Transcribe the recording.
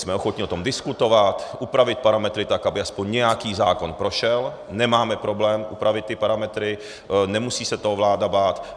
Jsme ochotni o tom diskutovat, upravit parametry tak, aby aspoň nějaký zákon prošel, nemáme problém upravit ty parametry, nemusí se toho vláda bát.